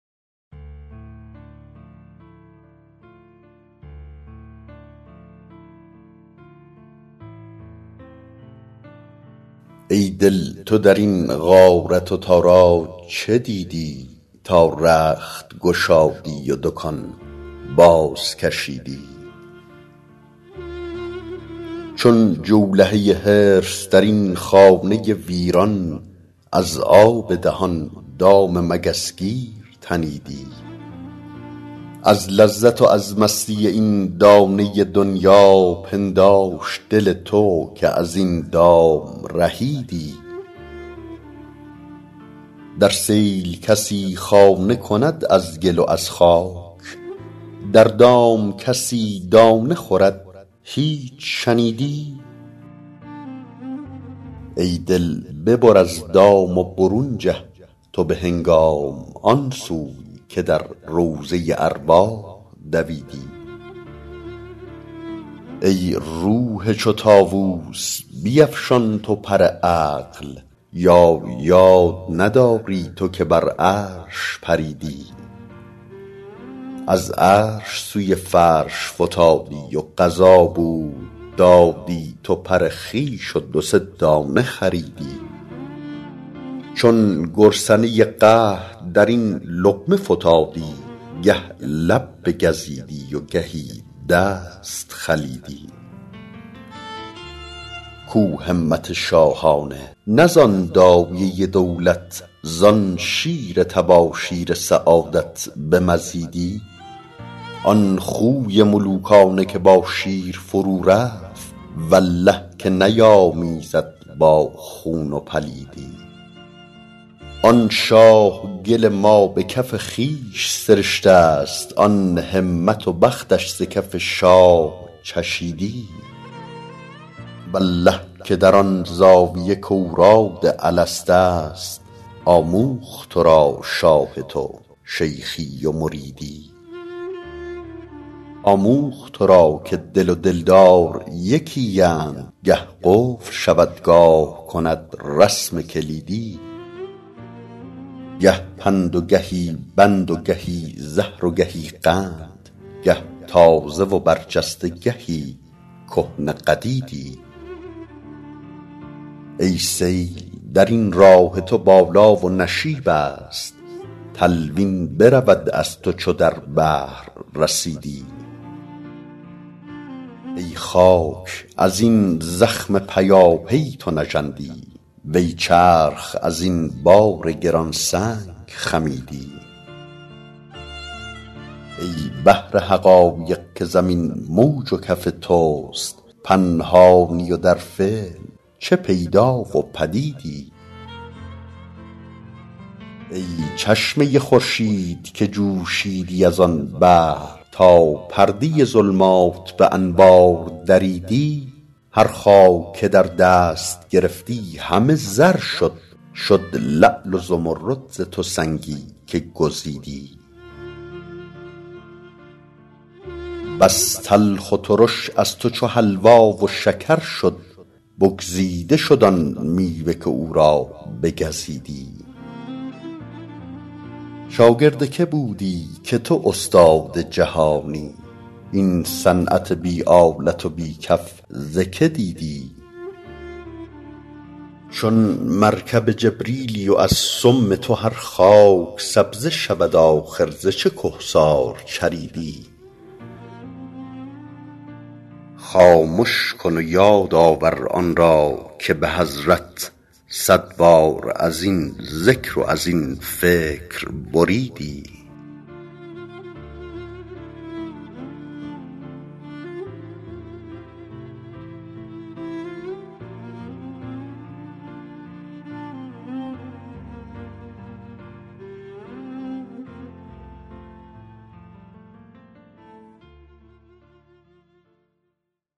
ای دل تو در این غارت و تاراج چه دیدی تا رخت گشادی و دکان بازکشیدی چون جولهه حرص در این خانه ویران از آب دهان دام مگس گیر تنیدی از لذت و از مستی این دانه دنیا پنداشت دل تو که از این دام رهیدی در سیل کسی خانه کند از گل و از خاک در دام کسی دانه خورد هیچ شنیدی ای دل ببر از دام و برون جه تو به هنگام آن سوی که در روضه ارواح دویدی ای روح چو طاووس بیفشان تو پر عقل یا یاد نداری تو که بر عرش پریدی از عرش سوی فرش فتادی و قضا بود دادی تو پر خویش و دو سه دانه خریدی چون گرسنه قحط در این لقمه فتادی گه لب بگزیدی و گهی دست خلیدی کو همت شاهانه نه زان دایه دولت زان شیر تباشیر سعادت بمزیدی آن خوی ملوکانه که با شیر فرورفت والله که نیامیزد با خون و پلیدی آن شاه گل ما به کف خویش سرشته ست آن همت و بختش ز کف شاه چشیدی والله که در آن زاویه کاوراد الست است آموخت تو را شاه تو شیخی و مریدی آموخت تو را که دل و دلدار یکی اند گه قفل شود گاه کند رسم کلیدی گه پند و گهی بند و گهی زهر و گهی قند گه تازه و برجسته گهی کهنه قدیدی ای سیل در این راه تو بالا و نشیب است تلوین برود از تو چو در بحر رسیدی ای خاک از این زخم پیاپی تو نژندی وی چرخ از این بار گران سنگ خمیدی ای بحر حقایق که زمین موج و کف توست پنهانی و در فعل چه پیدا و پدیدی ای چشمه خورشید که جوشیدی از آن بحر تا پرده ظلمات به انوار دریدی هر خاک که در دست گرفتی همه زر شد شد لعل و زمرد ز تو سنگی که گزیدی بس تلخ و ترش از تو چو حلوا و شکر شد بگزیده شد آن میوه که او را بگزیدی شاگرد کی بودی که تو استاد جهانی این صنعت بی آلت و بی کف ز کی دیدی چون مرکب جبریلی و از سم تو هر خاک سبزه شود آخر ز چه کهسار چریدی خامش کن و یاد آور آن را که به حضرت صد بار از این ذکر و از این فکر بریدی